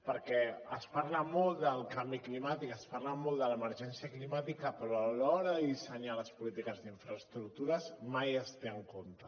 perquè es parla molt del canvi climàtic es parla molt de l’emergència climàtica però a l’hora de dissenyar les polítiques d’infraestructures mai es té en compte